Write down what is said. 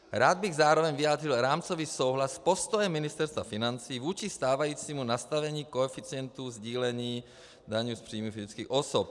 Rád bych zároveň vyjádřil rámcový souhlas s postojem Ministerstva financí vůči stávajícímu nastavení koeficientu sdílení daně z příjmu fyzických osob.